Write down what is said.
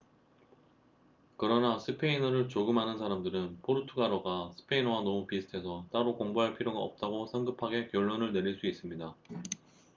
그러나 스페인어를 조금 아는 사람들은 포르투갈어가 스페인어와 너무 비슷해서 따로 공부할 필요가 없다고 성급하게 결론을 내릴 수 있습니다